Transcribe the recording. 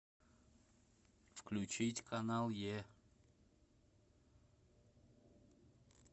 включить канал е